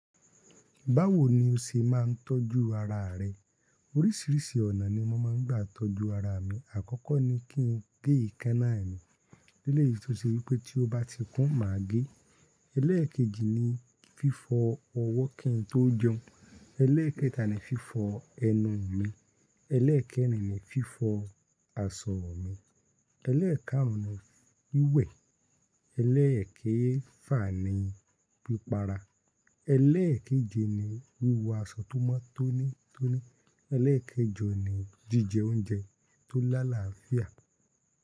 Báwo ni o ṣe máa ń tọ́jú ara rẹ? Orísìírísìí ọ̀nà ni mo máa ń gbà tọ́jú ara mi. Àkọ́kọ́ ni kí n gé èékánná mi. Eléyìí tó ṣe wípé tí ó bá ti kún má a gé. Eléèkejì ni fífọ ọwọ́ kí n tó jẹun. Eléèkẹta ni fífọ ẹnu mi. Eléèkẹ́rin ni fífọ aṣọ mi. Eléèkáàrún ni wíwẹ̀. Eléèkéfà ni pípara. Eléèkéje ni wíwọ aṣọ tó mọ́ tóní tóní. Eléèkejọ ni jíjẹ oúnjẹ tó lálafìà.